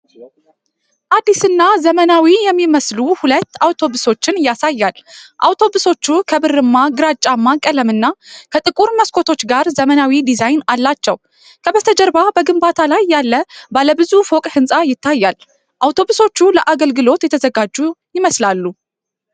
አዲስና ዘመናዊ የሚመስሉ ሁለት አውቶቡሶችን ያሳያል። አውቶቡሶቹ ከብርማ ግራጫማ ቀለምና ከጥቁር መስኮቶች ጋር ዘመናዊ ዲዛይን አላቸው። ከበስተጀርባ በግንባታ ላይ ያለ ባለ ብዙ ፎቅ ሕንፃ ይታያል። አውቶቡሶቹ ለአገልግሎት የተዘጋጁ ይመስላሉ።